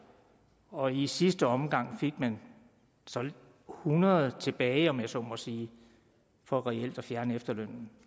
og i sidste omgang fik man solgt hundrede tilbage om jeg så må sige for reelt at fjerne efterlønnen